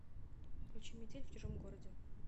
включи метель в чужом городе